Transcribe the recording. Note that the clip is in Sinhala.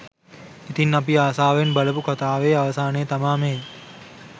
ඉතින් අපි ආසාවෙන් බලපු කතාවේ අවසානය තමා මේ